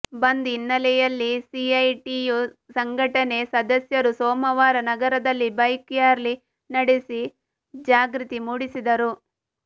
ಬಂದ್ ಹಿನ್ನೆಲೆಯಲ್ಲಿ ಸಿಐಟಿಯು ಸಂಘಟನೆ ಸದಸ್ಯರು ಸೋಮವಾರ ನಗರದಲ್ಲಿ ಬೈಕ್ ರ್ಯಾಲಿ ನಡೆಸಿ ಜಾಗೃತಿ ಮೂಡಿಸಿದರು